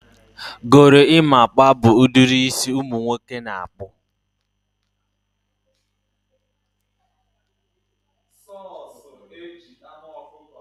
gorimapa bụ ụdịrị isi ụmụ nwoke na-akpụ.